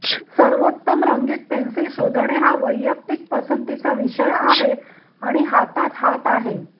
सर्वोत्तम रंगीत पेन्सिल शोधणे हा वैयक्तिक पसंतीचा विषय आहे आणि हातात हात आहे